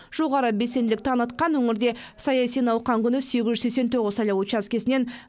жоғары белсенділік танытқан өңірде саяси науқан күні сегіз жүз сексен тоғыз сайлау учаскесінен